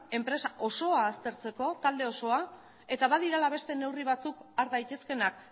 enpresa osoa aztertzeko talde osoa eta badirela beste neurri batzuk har daitezkeenak